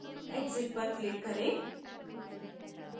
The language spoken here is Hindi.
exit पर click करें